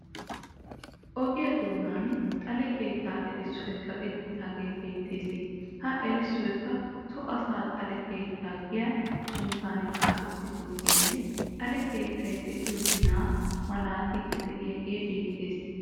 Ogiya doonan xale keetta erissoy kaqettidaage beettees. Ha erissoykka so asaa xalee keettaa giya sunttan xaafettidoogeenne xale keettay de'iyo ginaa malaatiiddi de'iyagee beettes.